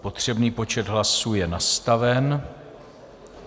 Potřebný počet hlasů je nastaven.